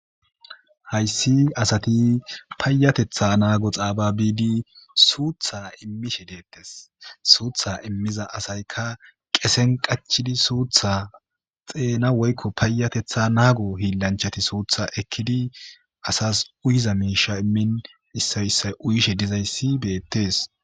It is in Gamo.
hayssi asati payatetha naago xaababidi suutha immishe deettes suutha immiza asayka qesen qachidi suutha xeena woykko payatetha naago hiilanchati suutha ekkidi asas uyiza miisha immin issayssay uyishe dizayssi beettes